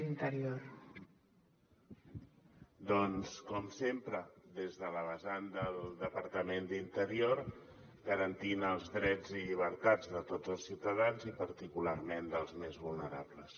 doncs com sempre des de la vessant del departament d’interior garantint els drets i llibertats de tots els ciutadans i particularment dels més vulnerables